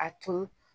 A tun